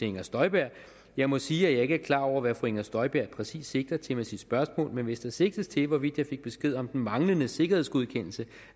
inger støjberg jeg må sige at jeg ikke er klar over hvad fru inger støjberg præcis sigter til med sit spørgsmål men hvis der sigtes til hvorvidt jeg fik besked om den manglende sikkerhedsgodkendelse